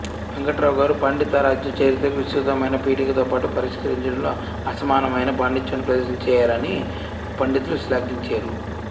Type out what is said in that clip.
వెంకటరావుగారు పండితారాధ్యచరిత్రకి విస్తృతమయిన పీఠికతోపాటు పరిష్కరించడంలో అసమానమయిన పాండిత్యాన్ని ప్రదర్శించేరని పండితులు శ్లాఘించేరు